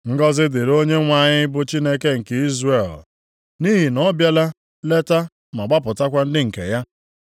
“Ngọzị dịrị Onyenwe anyị bụ Chineke nke Izrel, nʼihi na ọ bịala leta ma gbapụtakwa ndị nke ya.